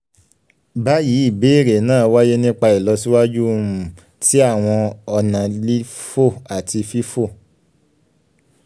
bayi ibeere naa waye nipa ilọsiwaju um ti awọn ọna lifo ati um fifo